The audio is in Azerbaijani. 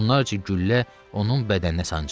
Onlarca güllə onun bədəninə sancıldı.